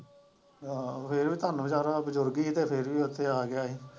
ਆਹੋ ਇਹ ਕੰੰਮ ਹੀ ਸਾਰਾ ਅੱਜ ਫਿਰ ਵੀ ਉੱਥੇ ਆ ਗਿਆ ਹੀ।